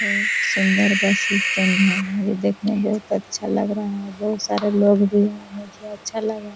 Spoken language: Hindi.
बहुत सुन्दर बस स्टैंड है ये देखने में बहुत अच्छा लग रहा है बहुत सारे लोग भी है मुझे अच्छा लग रहा है ।